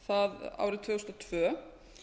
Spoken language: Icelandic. það árið tvö þúsund og tvö